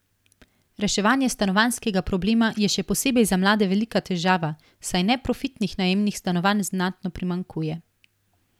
Reševanje stanovanjskega problema je še posebej za mlade velika težava, saj neprofitnih najemnih stanovanj znatno primanjkuje.